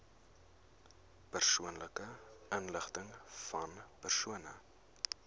persoonlike inligtingvan persone